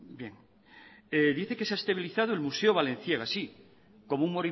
dice que se ha estabilizado el museo balenciaga sí como un